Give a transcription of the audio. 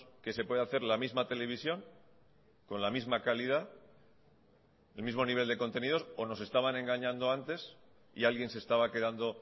que se puede hacer la misma televisión con la misma calidad el mismo nivel de contenidos o nos estaban engañando antes y alguien se estaba quedando